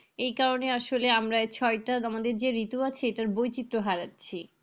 এই কারণে আসলে আমরা এই ছয়টা আমাদের যে ঋতু আছে, এটার বৈচিত্র হারাচ্ছি।